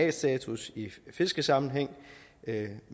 a status i fiskesammenhæng